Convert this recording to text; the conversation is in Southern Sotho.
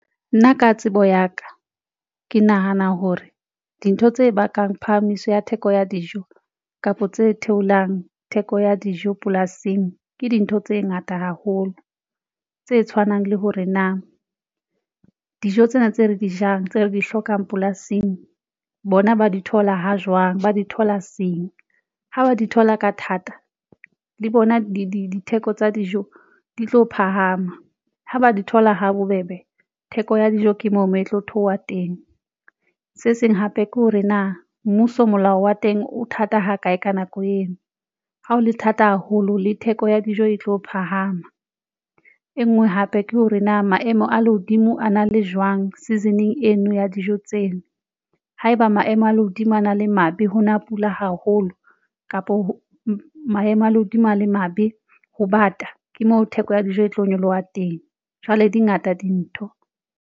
Nna ka tsebo ya ka, ke nahana hore dintho tse bakang phahamiso ya theko ya dijo kapa tse theolang theko ya dijo polasing, ke dintho tse ngata haholo tse tshwanang le hore na dijo tsena tse re di jang tse re di hlokang polasing bona. Ba di thola ha jwang Ba di thola seng ha ba di thola ka thata le bona ditheko tsa dijo di tlo phahama ha ba di thola ha bobebe. Theko ya dijo ke moo moo e tlo theoha teng se seng hape ke hore na mmuso molao wa teng o thata ha kae. Ka nako eo ha ho le thata haholo le theko ya dijo e tlo phahama. E nngwe hape ke hore na maemo a lehodimo a na le jwang season-eng eno ya dijo tseno. Haeba maemo a lehodimo a na le maybe ho na pula haholo kapo maemo a lehodimo a le mabe ho bata, ke mo theko ya dijo e tlo nyoloha teng jwale dingata dintho.